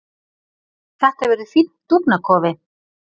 Þetta verður fínn dúfnakofi.